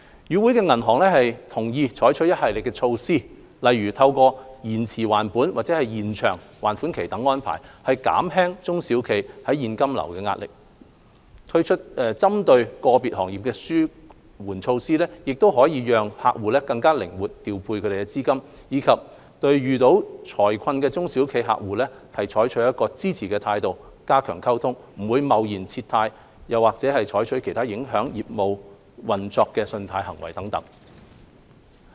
與會銀行同意採取一系列措施，例如透過延遲還本或延長還款期等安排，減輕中小企現金流壓力；推出針對個別行業的紓緩措施，讓客戶可以更靈活調配資金；以及對遇到財困的中小企客戶抱支持態度，加強溝通，不貿然撤貸或採取其他影響客戶業務運作的信貸行動等。